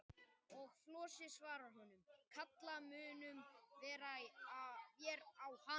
Og Flosi svarar honum: Kalla munum vér á hana.